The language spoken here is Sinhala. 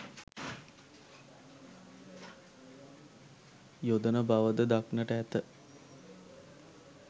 යොදන බව ද දක්නට ඇත.